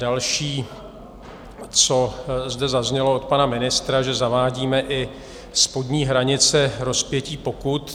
Další, co zde zaznělo od pana ministra, že zavádíme i spodní hranice rozpětí pokut.